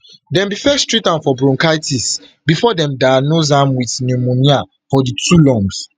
dem bin first treat am for bronchitis bifor dem diagnose am wit pneumonia for di two lungs